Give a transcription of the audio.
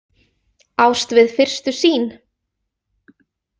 Ást við fyrstu sýn?